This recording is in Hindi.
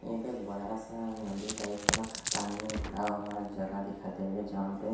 यहा पे बड़ा सा नदी टाइप का पानी में भदा हुआ जगा दिखाई देरा जहा पे--